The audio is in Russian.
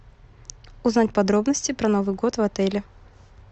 узнать подробности про новый год в отеле